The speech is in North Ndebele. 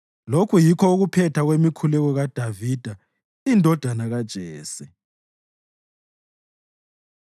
Lokhu yikho ukuphetha kwemikhuleko kaDavida indodana kaJese.